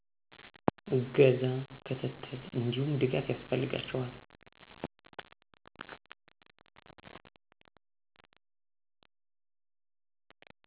እገዛ፣ ክትትል እንዲሁም ድጋፍ ያስፈልጋቸዋል